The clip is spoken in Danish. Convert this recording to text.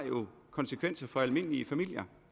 konsekvenser for almindelige familiers